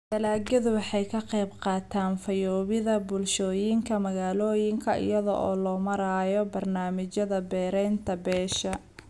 Dalagyadu waxay ka qaybqaataan fayoobida bulshooyinka magaalooyinka iyada oo loo marayo barnaamijyada beeraynta beesha.